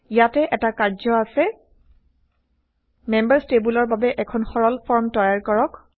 ইয়াতে160এটা কাৰ্য আছে মেম্বাৰচ টেইবলৰ বাবে এখন সৰল ফৰ্ম তৈয়াৰ কৰক